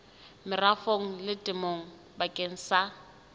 merafong le temong bakeng sa